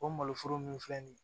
O maloforo ninnu filɛ nin ye